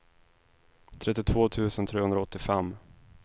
trettiotvå tusen trehundraåttiofem